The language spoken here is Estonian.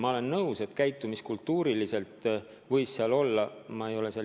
Ma olen nõus, et käitumiskultuuri seisukohalt võis seal tegu olla inimeste solvamisega.